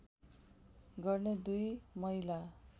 गर्ने दुई महिला